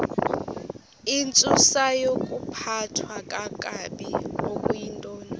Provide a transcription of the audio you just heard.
intsusayokuphathwa kakabi okuyintoni